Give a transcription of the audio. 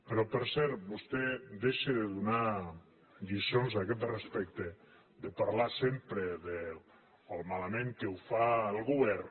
però per cert vostè deixi de donar lliçons a aquest res·pecte de parlar sempre de com de malament que ho fa el govern